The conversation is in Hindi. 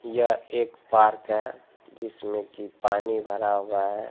यह एक पार्क है जिसमें की पानी भरा हुआ है।